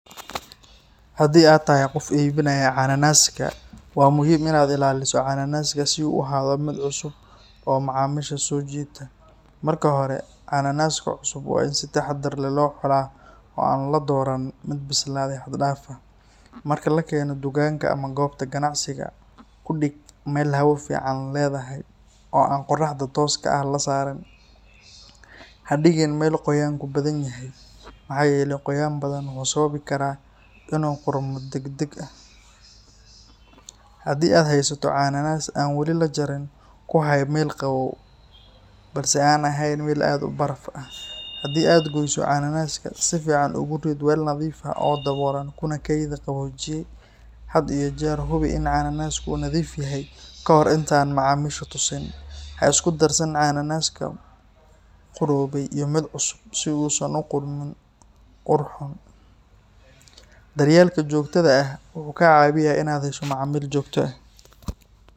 Haddii aad tahay qof iibinaya cananaaska, waa muhiim inaad ilaaliso cananaaska si uu u ahaado mid cusub oo macaamiisha soo jiita. Marka hore, cananaaska cusub waa in si taxaddar leh loo xulaa oo aan la dooran mid bislaaday xad dhaaf ah. Marka la keeno dukaanka ama goobta ganacsiga, ku dhig meel hawo fiican leedahay oo aan qorraxda tooska ah la saarin. Ha dhigin meel qoyaanku badan yahay, maxaa yeelay qoyaan badan wuxuu sababi karaa in uu qudhmo deg deg ah. Haddii aad haysato cananaas aan wali la jarin, ku hay meel qabow balse aan ahayn meel aad u baraf ah. Haddii aad gooyso cananaaska, si fiican ugu rid weel nadiif ah oo daboolan kuna kaydi qaboojiye. Had iyo jeer hubi in cananaasku uu nadiif yahay ka hor intaadan macaamiisha tusin. Ha isku darsan cananaaska duqoobay iyo mid cusub, si uusan u gudbin ur xun. Daryeelka joogtada ah wuxuu kaa caawinayaa inaad hesho macaamiil joogto ah.